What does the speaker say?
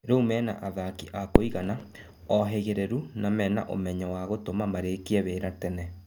Rĩ u mena athaki a kũigana, ohĩ gĩ rĩ ru na mena umenyo wa gũtũma marĩ kie wĩ ra tene.